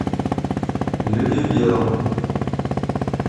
люди в белом